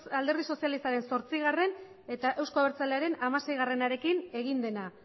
alderdi sozialistaren zortzigarrena eta euzko abertzalearen hamaseiarekin egin dena